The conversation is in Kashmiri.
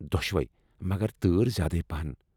دۄشوٕے، مگر تٲر زیادٕ پاہن ۔